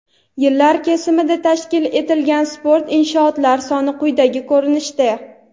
Yillar kesimida tashkil etilgan sport inshootlari soni quyidagi ko‘rinishda:.